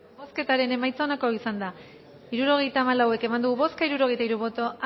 bozketaren emaitza onako izan da hirurogeita hamalau eman dugu bozka hirurogeita hiru boto